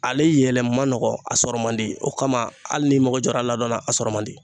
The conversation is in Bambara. Ale yɛlɛ man nɔgɔn a sɔrɔ man di o kama hali n'i mago jɔra a la dɔɔnin a sɔrɔ man di